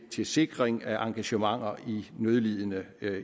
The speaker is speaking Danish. til sikring af engagementer i nødlidende